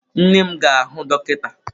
Nne m ga-ahụ dọkịta.